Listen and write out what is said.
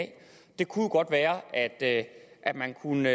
det kunne jo godt være at at man kunne